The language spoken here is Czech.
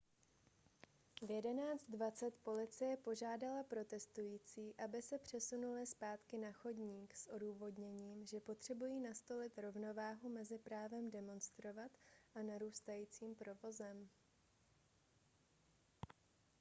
v 11:20 policie požádala protestující aby se přesunuli zpátky na chodník s odůvodněním že potřebují nastolit rovnováhu mezi právem demonstrovat a narůstajícím provozem